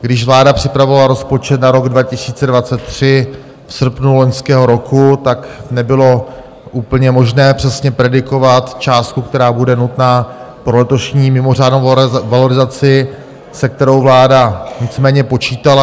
Když vláda připravovala rozpočet na rok 2023 v srpnu loňského roku, tak nebylo úplně možné přesně predikovat částku, která bude nutná pro letošní mimořádnou valorizaci, se kterou vláda nicméně počítala.